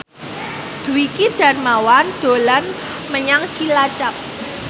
Dwiki Darmawan dolan menyang Cilacap